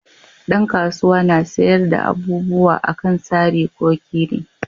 Dan kasuwa na sayar da abubuwa a kan sari ko kiri